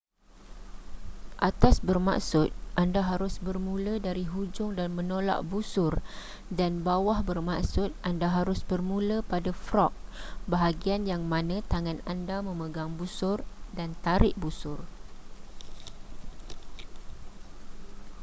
atas bermaksud anda harus bermula dari hujung dan menolak busur dan bawah bermaksud anda harus bermula pada frog bahagian yang mana tangan anda memegang busur dan tarik busur